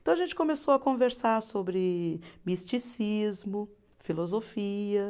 Então a gente começou a conversar sobre misticismo, filosofia.